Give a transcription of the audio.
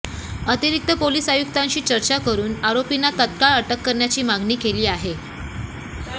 अतिरिक्त पोलीस आयुक्तांशी चर्चा करून आरोपींना तात्काळ अटक करण्याची मागणी केली आहे